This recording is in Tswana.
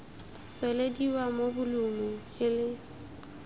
tswelediwa mo bolumu e le